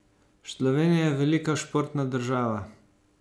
Slovenija je velika športna država.